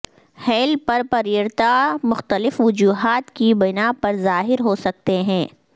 heel پر پریرتا مختلف وجوہات کی بنا پر ظاہر ہو سکتے ہیں